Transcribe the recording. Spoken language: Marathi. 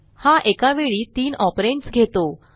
हा एका वेळी तीन ऑपरंड्स घेतो